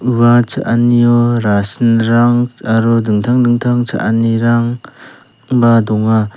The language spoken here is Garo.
ua cha·anio rasinrang aro dingtang dingtang cha·anirangba donga.